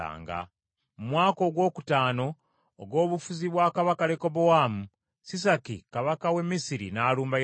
Mu mwaka ogwokutaano ogw’obufuzi bwa kabaka Lekobowaamu, Sisaki kabaka w’e Misiri n’alumba Yerusaalemi.